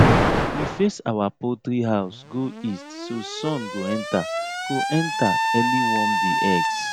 we face our poultry house go east so sun go enter go enter early warm di eggs